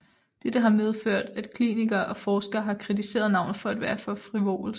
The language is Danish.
Dette har medført at klinikker og forskere har kritiseret navnet for at være for frivolsk